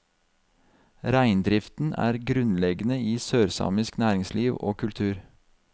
Reindriften er grunnleggende i sørsamisk næringsliv og kultur.